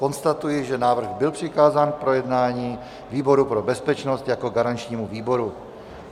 Konstatuji, že návrh byl přikázán k projednání výboru pro bezpečnost jako garančnímu výboru.